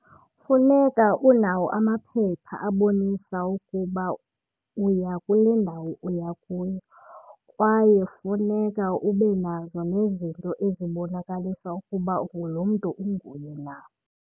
Funeka unawo amaphepha abonisa ukuba uya kule ndawo uya kuyo kwaye funeka ube nazo nezinto ezibonakalisa ukuba ungulo mntu unguye na.